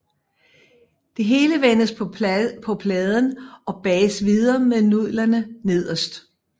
Det hele vendes på pladen og bages videre med nudlerne nederst